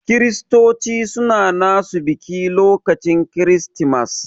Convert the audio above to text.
Kiristoci suna nasu biki lokacin kiristimas.